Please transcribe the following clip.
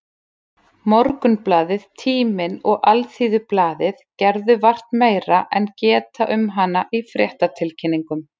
Morgunblaðið, Tíminn og Alþýðublaðið gerðu vart meira en geta um hana í fréttatilkynningum.